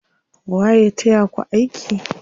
Waye ya taya ku aiki?